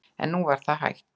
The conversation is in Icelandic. En nú var það hætt.